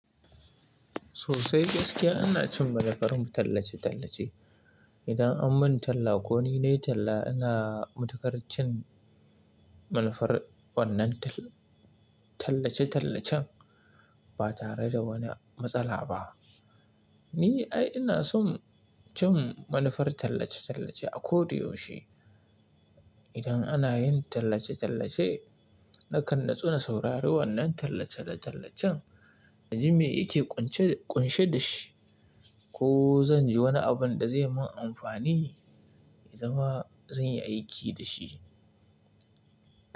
Sosai gaskiya ana cin manufar tallace-tallace. Idan an mun talla ko ni ne talla ina matuƙar cin manufar wannan tal- tallace-tallacen ba tare da wani matsala ba. Ni ai ina son cin manufar tallace-tallace a ko da yaushe. Idan ana yin tallace-tallace nakan natsu na saurari wannan tallace-tallacen naji me yake ƙunshe da shi ko zan ji wani abin da zai mun amfani in zama zan yi aiki da shi.